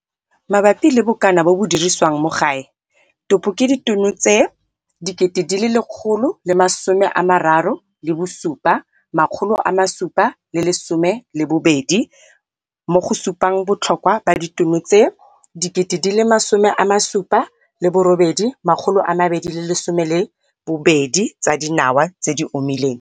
Mabapi le bokana bo bo dirisiwang mo gae, topo ke ditono tse 137 712, mo go supang botlhokwa ba ditono tse 78 212 tsa dinawa tse di omileng.